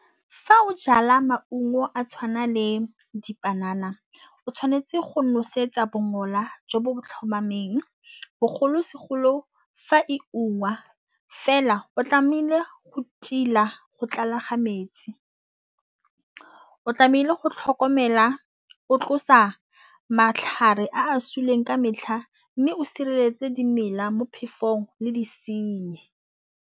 Fa o jala maungo a tshwana le dipanana o tshwanetse go nosetsa bongola jo bo tlhomameng bogolosegolo fa e ungwa fela o tlamehile go go tlala ga metsi. O tlamehile go tlhokomela o tlosa matlhare a suleng ka metlha mme o sireletse dimela mo phefong le disenyi.